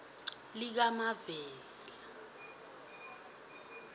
likamavela